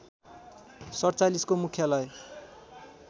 ४७ को मुख्यालय